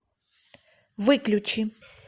выключи